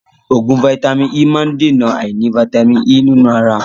Oògùn vàìtamínií E má ń dèna àìní vàìtamínií E nínú ara.